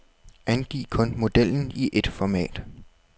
Angiv kun modellen i et format.